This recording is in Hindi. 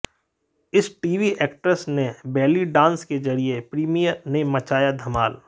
इस टीवी एक्ट्रेस ने बैली डांस के जरिये प्रीमियर में मचाया धमाल